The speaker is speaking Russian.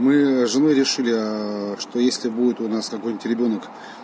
мы женой решили что если будет у нас какой-нибудь ребёнок